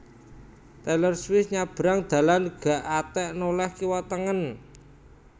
Taylor Swift nyabrang dalan gak atek noleh kiwa tengen